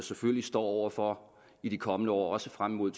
selvfølgelig står over for i de kommende år også frem mod